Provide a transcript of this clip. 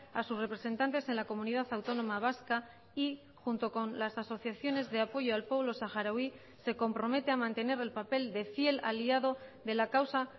a sus representantes en la comunidad autónoma vasca y junto con las asociaciones de apoyo al pueblo saharaui se compromete a mantener el papel de fiel aliado de la causa